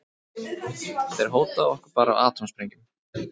Þeir hóta okkur bara atómsprengjum.